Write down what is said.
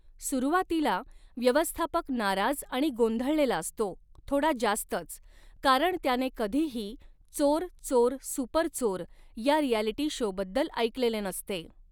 सुरुवातीला, व्यवस्थापक नाराज आणि गोंधळलेला असतो, थोडा जास्तच, कारण त्याने कधीही 'चोर, चोर, सुपर चोर' या रिॲलिटी शोबद्दल ऐकलेले नसते.